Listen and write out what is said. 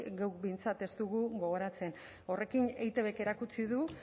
geuk behintzat ez dugu gogoratzen horrekin eitbk erakutsi du